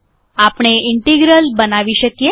આપણે ઇન્ટિગ્રલ બનાવી શકીએ